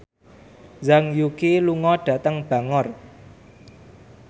Zhang Yuqi lunga dhateng Bangor